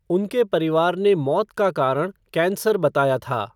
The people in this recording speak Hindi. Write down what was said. उनके परिवार ने मौत का कारण कैंसर बताया था।